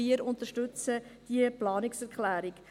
Wir unterstützten diese Planungserklärung.